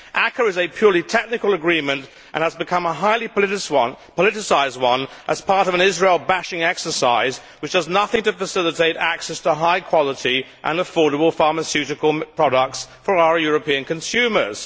ACAA is a purely technical agreement and has become a highly politicised one as part of an Israel bashing exercise which does nothing to facilitate access to high quality and affordable pharmaceutical products for our European consumers.